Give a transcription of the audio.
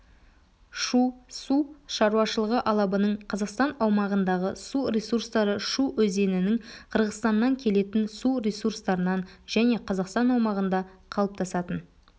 шу су шаруашылығы алабының қазақстан аумағындағы су ресурстары шу өзенінің қырғызстаннан келетін су ресурстарынан және қазақстан аумағында қалыптасатын